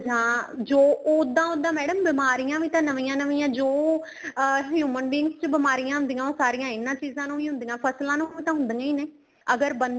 ਜਾਂ ਜੋ ਉੱਦਾਂ ਉੱਦਾਂ madam ਬਿਮਾਰੀਆਂ ਵੀ ਤਾਂ ਨਵੀਆਂ ਨਵੀਆਂ ਜੋ ਅਹ human being ਚ ਹੁੰਦੀਆਂ ਹੋ ਸਾਰੀਆਂ ਇਹਨਾ ਚੀਜ਼ਾਂ ਨੂੰ ਵੀ ਹੁੰਦੀਆਂ ਫ਼ਸਲਾ ਨੂੰ ਵੀ ਤਾਂ ਹੁੰਦੀਆਂ ਹੀ ਨੇ ਅਗਰ ਬੰਦੇ